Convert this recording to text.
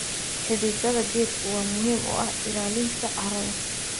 Xididada geedku waa muhiim u ah ilaalinta carrada.